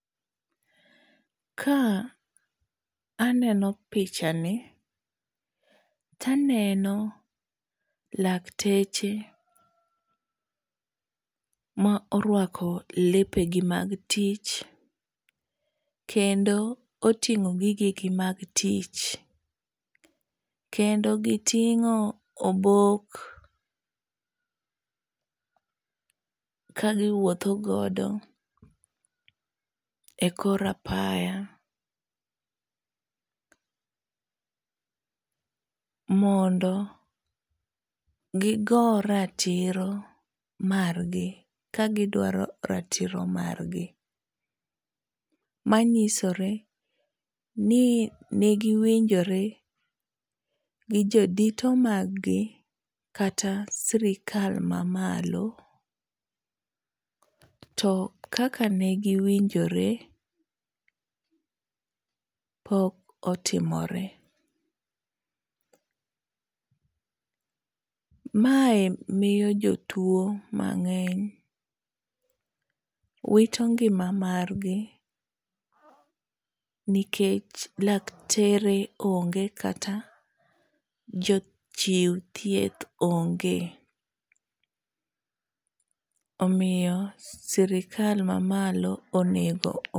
Ka aneno pichani, taneno lakteche ma orwako lepegi mag tich, kendo oting'o gigegi mag tich ,kendo giting'o obok kagiwuotho godo e kor apaya, mondo gigo ratiro margi kagidwaro ratiro margi, manyisore ni nigi winjore gi jodito maggi kata sirikal mamalo, to kaka ne giwinjore, pok otimore. Mae miyo jotuwo mang'eny wito ngima margi, nikech laktere onge kata jochiw thieth onge, omiyo sirikal mamalo onego .